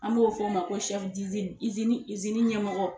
An b'o fɔ o ma ko ɲɛmɔgɔ.